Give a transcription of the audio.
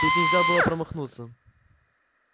тут нельзя было промахнуться